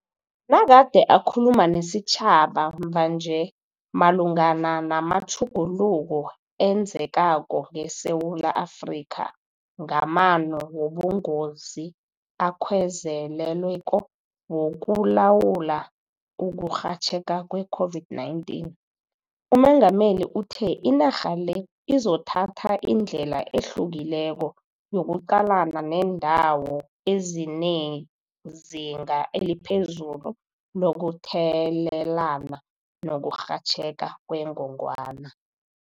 Nagade akhuluma nesitjhaba mvanje malungana namatjhuguluko enzekako ngeSewula Afrika ngamano wobungozi-akhwezelelweko wokulawula ukurhatjheka kwe-COVID-19, uMengameli uthe inarha le izothatha indlela ehlukileko yokuqalana neendawo ezinezinga eliphezulu lokuthelelana nokurhatjheka kwengongwana.